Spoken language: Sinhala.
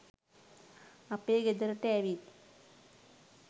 අපේ ගෙදරට ඇවිත්